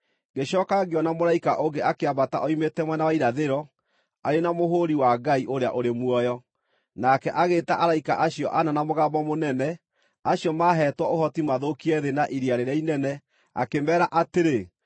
Ngĩcooka ngĩona mũraika ũngĩ akĩambata oimĩte mwena wa irathĩro, arĩ na mũhũri wa Ngai ũrĩa ũrĩ muoyo. Nake agĩĩta araika acio ana na mũgambo mũnene, acio maaheetwo ũhoti mathũkie thĩ na iria rĩrĩa inene, akĩmeera atĩrĩ: